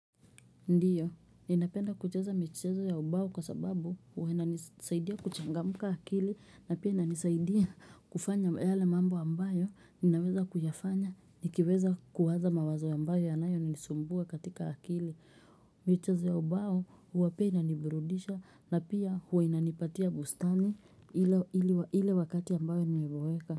Ndiyo, ninapenda kucheza micheza ya ubao kwa sababu wananisaidia kuchangamka akili na pia inanisaidia kufanya yale mambo ambayo, ninaweza kuyafanya, nikiweza kuwaza mawazo ambayo yanayonisumbua katika akili. Michezo ya ubao huwa pia inaniburudisha na pia huwa inanipatia bustani ile wakati ambayo nimeboeka.